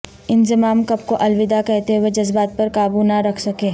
انضمام کپ کو الوداع کہتے ہوئے جذبات پر قابو نہ رکھ سکے